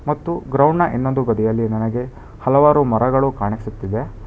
ಮತ್ತು ಗ್ರೌಂಡ್ ನ ಇನ್ನೊಂದು ಬದಿಯಲ್ಲಿ ನನಗೆ ಹಲವಾರು ಮರಗಳು ಕಾಣಿಸುತ್ತಿದೆ.